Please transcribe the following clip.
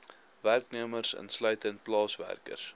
werknemers insluitend plaaswerkers